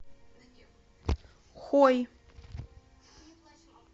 хой